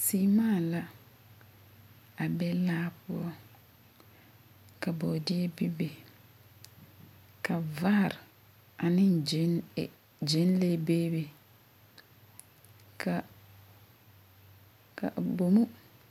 Seema la a be laa poɔ ka bɔɔdeɛ bebe ka vaare ane gyɛnle bebe ka